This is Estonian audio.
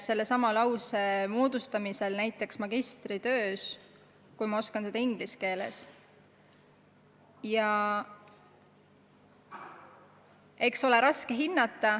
Kui ma oskan inglise keeles näiteks magistritöös lauseid moodustada, siis on raske hinnata, kuidas ma oskan seda eesti keeles.